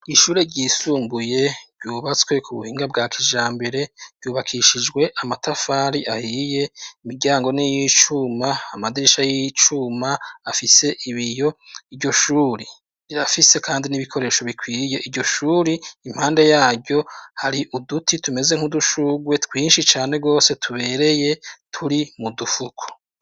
Ishure ryisumbuye ryubatswe ku buhinga bwa kija mbere ryubakishijwe amatafari ahiye imiryango niyicuma amadirisha y'icuma afise ibiyo, iryoshure rirafise kandi n'ibikoresho bikwirye iryo shuri impande yaryo hari uduti tumeze nk'udushugwe twinshi cane gwose tubereye turi mu dufuko.